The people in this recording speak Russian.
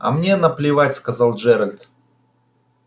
а мне наплевать сказал джералд